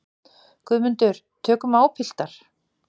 GUÐMUNDUR: Tökum á, piltar.